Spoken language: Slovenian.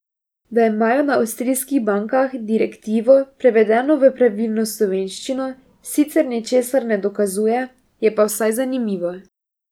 Da imajo na avstrijskih bankah direktivo, prevedeno v pravilno slovenščino, sicer ničesar ne dokazuje, je pa vsaj zanimivo.